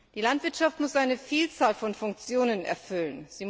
Die Landwirtschaft muss eine Vielzahl von Funktionen erfüllen.